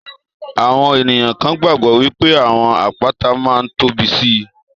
Àwọn ènìyàn kan gbàgbọ́ wípé àwọn àpáta máa ń tóbi síi.